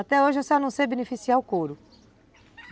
Até hoje eu só não sei beneficiar o couro.